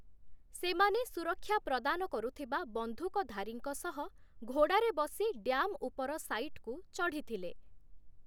ସେମାନେ ସୁରକ୍ଷା ପ୍ରଦାନ କରୁଥିବା ବନ୍ଧୁକ ଧାରୀଙ୍କ ସହ ଘୋଡାରେ ବସି ଡ୍ୟାମ ଉପର ସାଇଟକୁ ଚଢିଥିଲେ ।